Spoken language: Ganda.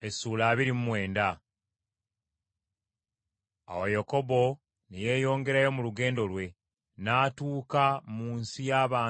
Awo Yakobo ne yeeyongerayo mu lugendo lwe, n’atuuka mu nsi y’abantu b’ebuvanjuba.